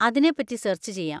അതിനെപ്പറ്റി സെർച്ച് ചെയ്യാം.